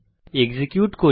execute করি